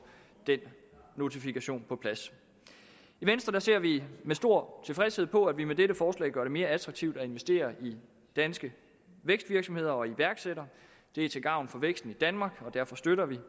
den notifikation på plads i venstre ser vi med stor tilfredshed på at vi med dette forslag gør det mere attraktivt at investere i danske vækstvirksomheder og iværksættere det er til gavn for væksten i danmark og derfor støtter vi